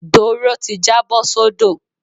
Doro ti jábọ́ sódò.